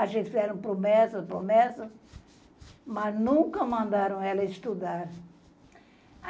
A gente fez promessas, promessas, mas nunca mandaram ela estudar.